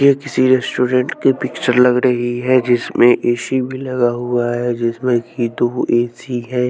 ये किसी रेस्टोरेंट की पिक्चर लग रही है जिसमें ए_सी भी लगा हुआ है जिसमें कि दो ए_सी है।